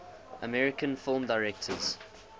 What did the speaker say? american film directors